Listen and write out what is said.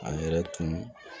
A yɛrɛ tun